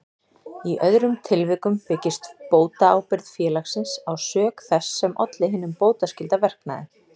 Í öðrum tilvikum byggist bótaábyrgð félagsins á sök þess sem olli hinum bótaskylda verknaði.